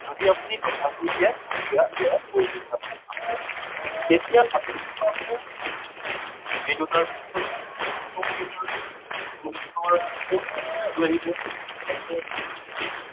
যদি আপুনি ল সা গু উলিয়াই তেতিয়া ইয়াৰ প্ৰয়োজনীয়তাটো আছে। তেতিয়া আমি কি পামগে এই দুটাৰ ভিতৰত two two to the power four ইয়াতো আহিব, প্ৰথমটো আহিব